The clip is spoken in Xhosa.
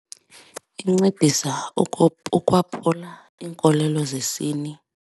Inciphisa ukwaphula iinkolelo zesini.